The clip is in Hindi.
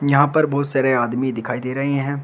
यहां पर बहुत सारे आदमी दिखाई दे रहे हैं।